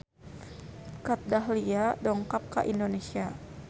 Kat Dahlia dongkap ka Indonesia